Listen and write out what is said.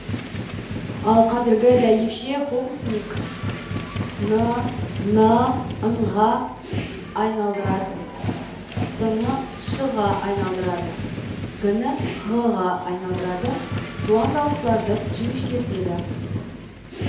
ал кәзіргі дәйекше фокусник н ны ң ға айналдырады с ны ш ға айналдырады г ны ғ ға айналдырады жуан дауыстыларды жіңішкертеді